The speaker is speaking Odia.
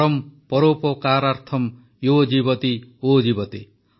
ପରମ୍ ପରୋପକାରାର୍ଥମ୍ ୟୋ ଜୀବତି ଓ ଜୀବତି